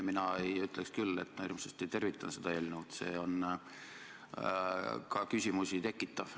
Mina ei ütleks küll, et ma hirmsasti tervitan seda eelnõu, see on ka küsimusi tekitav.